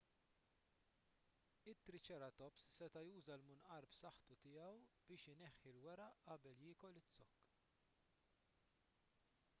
triċeratops seta' juża l-munqar b'saħħtu tiegħu biex ineħħi l-weraq qabel jiekol iz-zokk